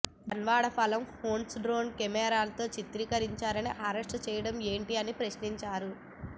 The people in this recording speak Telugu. జన్వాడ ఫఆం హౌస్ను డ్రోన్ కెమెరాతో చిత్రీకరించారని అరెస్ట్ చేయడం ఏంటీ అని ప్రశ్నించారు